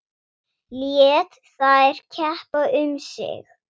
Lét þær keppa um sig.